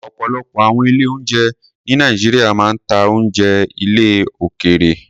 Ọ̀pọ̀lọpọ̀ àwọn ilé-oúnjẹ ní Nàìjíríà máa ń ta oúnjẹ ilẹ̀ òkèèrè.